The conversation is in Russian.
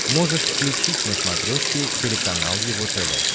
можешь включить на смотрешке телеканал его тв